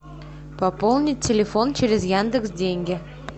пополнить телефон через яндекс деньги